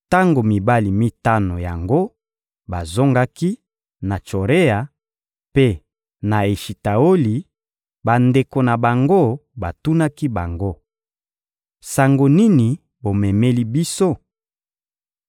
Tango mibali mitano yango bazongaki na Tsorea mpe na Eshitaoli, bandeko na bango batunaki bango: — Sango nini bomemeli biso?